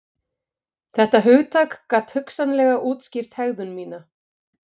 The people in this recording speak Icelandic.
Þetta hugtak gat hugsanlega útskýrt hegðun mína.